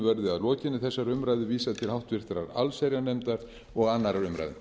verði að lokinni þessari umræðu vísað til háttvirtrar allsherjarnefndar og annarrar umræðu